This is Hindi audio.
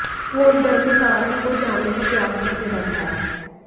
वो उस डर के कारण को जानने का प्रयास करते रहता है